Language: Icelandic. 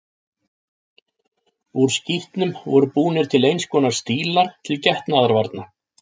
Úr skítnum voru búnir til eins konar stílar til getnaðarvarna.